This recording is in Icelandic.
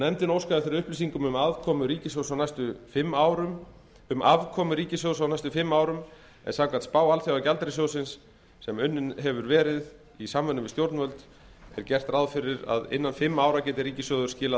nefndin óskaði eftir upplýsingum um afkomu ríkissjóðs á næstu fimm árum en samkvæmt spá alþjóðagjaldeyrissjóðsins sem unnin hefur verið í samvinnu við stjórnvöld er gert ráð fyrir að innan fimm ára geti ríkissjóður skilað